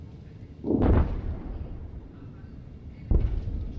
Çox böyük ildırımlar müşahidə olunur.